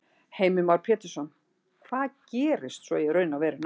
Heimir Már Pétursson: Hvað gerist svo í raun og veru næst?